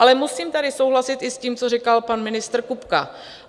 Ale musím tady souhlasit i s tím, co říkal pan ministr Kupka.